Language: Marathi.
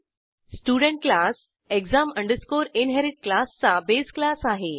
स्टुडेंट क्लास exam inherit क्लासचा बेस क्लास आहे